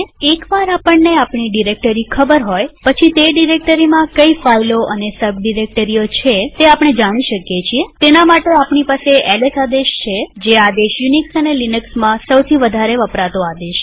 એક વાર આપણને આપણી ડિરેક્ટરી ખબર હોય પછી તે ડિરેક્ટરીમાં કઈ ફાઈલો અને સબ ડિરેક્ટરીઓ છે તે જાણી શકીએતેના માટે આપણી પાસે એલએસ આદેશ છે જે કદાચ યુનિક્સ અને લિનક્સમાં સૌથી વધારે વપરાતો આદેશ છે